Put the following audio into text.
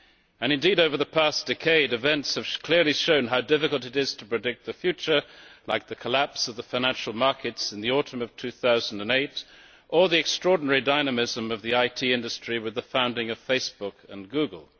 And indeed, over the past decade events have clearly shown how difficult it is to predict the future, such as the collapse of the financial markets in the autumn of 2008, or the extraordinary dynamism of the IT industry with the founding of Facebook and Google.